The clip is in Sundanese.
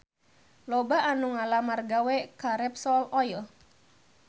Loba anu ngalamar gawe ka Repsol Oil